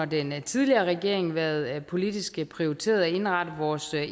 den tidligere regering været politisk prioriteret at indrette vores